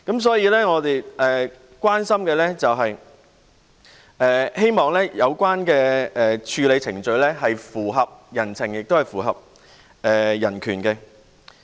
所以，我們關心及希望的是，有關的處理程序符合人情及人權。